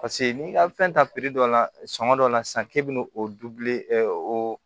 Paseke n'i ka fɛn ta dɔ la sɔngɔ dɔ la sisan k'e bɛna o oo